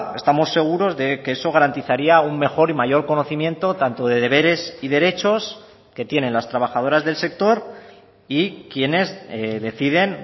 estamos seguros de que eso garantizaría un mejor y mayor conocimiento tanto de deberes y derechos que tienen las trabajadoras del sector y quienes deciden